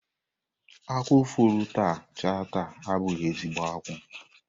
Ákwú fọrọ taa chaa taa abụghị ezigho akwụ.